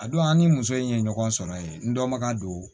A don an ni muso in ye ɲɔgɔn sɔrɔ ye n dɔnbaga don